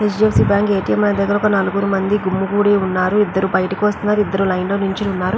H D F C ATM దగ్గర ఒక నలుగురు గుమ్మి గుడి ఉన్నారు ఇద్దరు బయటకు వస్తున్నారు ఇద్దరు లైన్ లో నిల్చొని ఉన్నారు.